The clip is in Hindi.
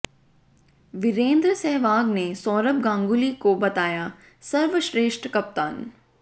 वीरेंद्र सहवाग ने सौरभ गांगुली को बताया सर्वश्रेष्ठ कप्तान